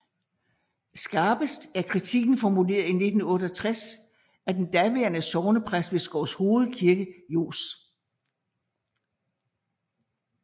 Skarpest er kritikken formuleret i 1988 af daværende sognepræst ved Skovshoved Kirke Johs